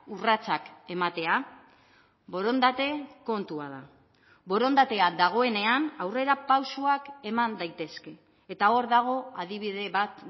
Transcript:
urratsak ematea borondate kontua da borondatea dagoenean aurrerapausoak eman daitezke eta hor dago adibide bat